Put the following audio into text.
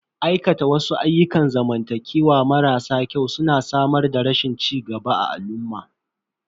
Aikata wasu ayyukan zamantakewa marasa kyau su na samar da rashin cigaba a al'umma.